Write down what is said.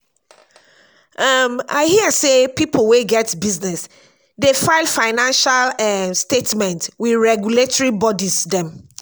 um i hear sey pipo wey get business dey file financial um statement with regulatory bodies dem.